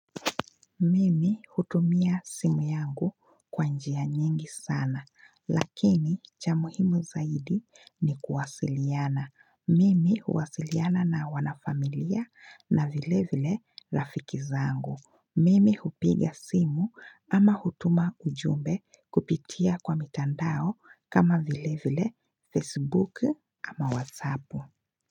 Mimi hutumia simu yangu kwa njia nyingi sana lakini cha muhimu zaidi ni kuwasiliana. Mimi huwasiliana na wanafamilia na vile vile rafiki zangu. Mimi hupiga simu ama hutuma ujumbe kupitia kwa mitandao kama vile vile Facebook ama WhatsApp.